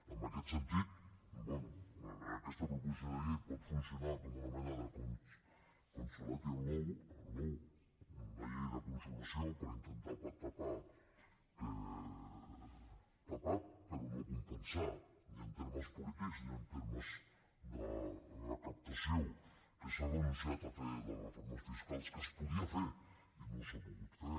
en aquest sentit bé aquesta proposició de llei pot funcionar com una mena de consolation law una llei de consolació per intentar tapar tapar però no compensar ni en termes polítics ni en termes de recaptació que s’ha renunciat a fer les reformes fiscals que es podien fer i no s’han pogut fer